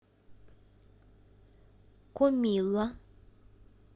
комилла